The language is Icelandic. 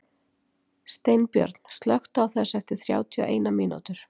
Steinbjörn, slökktu á þessu eftir þrjátíu og eina mínútur.